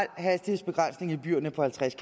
hastighedsbegrænsning i byerne på halvtreds